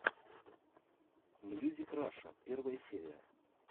мьюзик раша первая серия